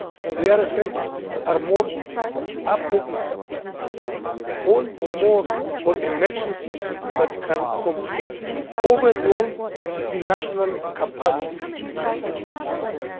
Their effects are more unpredictable, all the more for emergencies that can completely overwhelm the national capacities and national resources.